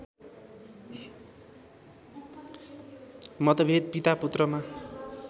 मतभेद पितापुत्रमा